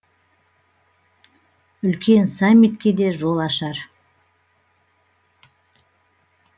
үлкен саммитке де жол ашар